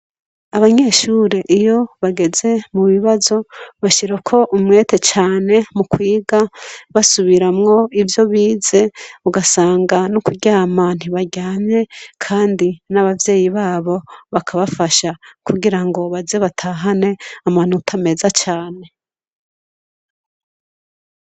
Abanyeshure iyo bageze mu bibazo, bashirako umwete cane mu kwiga, basubiramwo ivyo bize, ugasanga no kuryama ntibaryamye, kandi n'abavyeyi babo bakabafasha kugirango baze batahane amanota meza cane.